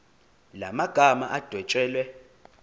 la magama adwetshelwe